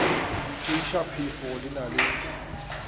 tšeiša phefo di na le